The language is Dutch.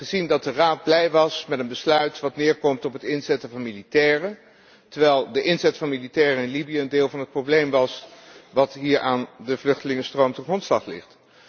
Wij hebben gezien dat de Raad blij was met een besluit dat neerkomt op het inzetten van militairen, terwijl de inzet van militairen in Libië een deel van het probleem was dat aan de vluchtelingenstroom ten grondslag ligt.